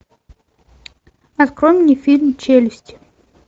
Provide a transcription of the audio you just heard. открой мне фильм челюсти